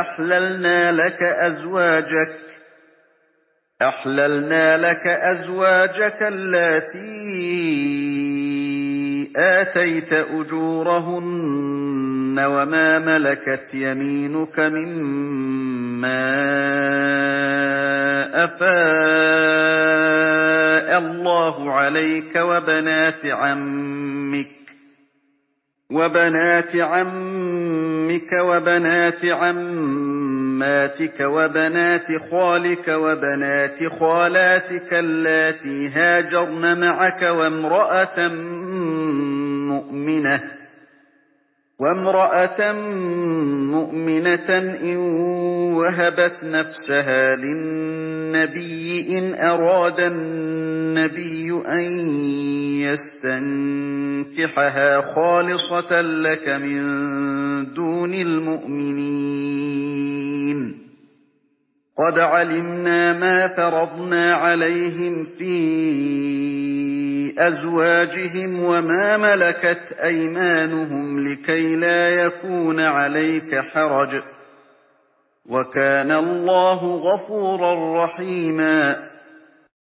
أَحْلَلْنَا لَكَ أَزْوَاجَكَ اللَّاتِي آتَيْتَ أُجُورَهُنَّ وَمَا مَلَكَتْ يَمِينُكَ مِمَّا أَفَاءَ اللَّهُ عَلَيْكَ وَبَنَاتِ عَمِّكَ وَبَنَاتِ عَمَّاتِكَ وَبَنَاتِ خَالِكَ وَبَنَاتِ خَالَاتِكَ اللَّاتِي هَاجَرْنَ مَعَكَ وَامْرَأَةً مُّؤْمِنَةً إِن وَهَبَتْ نَفْسَهَا لِلنَّبِيِّ إِنْ أَرَادَ النَّبِيُّ أَن يَسْتَنكِحَهَا خَالِصَةً لَّكَ مِن دُونِ الْمُؤْمِنِينَ ۗ قَدْ عَلِمْنَا مَا فَرَضْنَا عَلَيْهِمْ فِي أَزْوَاجِهِمْ وَمَا مَلَكَتْ أَيْمَانُهُمْ لِكَيْلَا يَكُونَ عَلَيْكَ حَرَجٌ ۗ وَكَانَ اللَّهُ غَفُورًا رَّحِيمًا